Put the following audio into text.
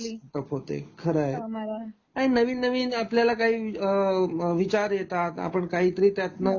startup होते, खरंय, काही नवीन नवीन आपल्याला काही अ विचार येतात आपण काहीतरी त्यातन